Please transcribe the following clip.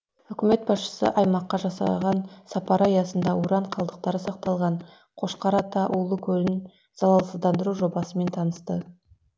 үкімет басшысы аймаққа жасаған сапары аясында уран қалдықтары сақталған қошқар ата улы көлін залалсыздандыру жобасымен танысты